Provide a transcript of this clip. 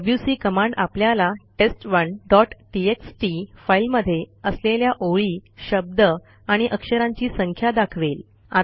WC command आपल्याला टेस्ट1 dot TXT फाईलमध्ये असलेल्या ओळी शब्द आणि अक्षरांची संख्या दाखवेल